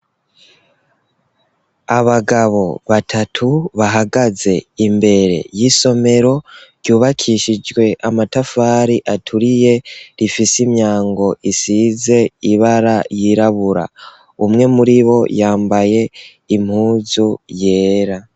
Abagabo batatu bahagaze imbere y'isomero ryubakishijwe amatafari aturiye rifise imyango isize ibara ryirabura umwe muribo yambaye impuzu yera.